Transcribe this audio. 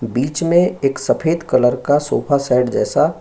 बीच में एक सफेद कलर का सोफा-सेट जैसा --